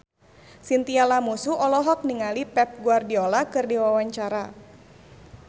Chintya Lamusu olohok ningali Pep Guardiola keur diwawancara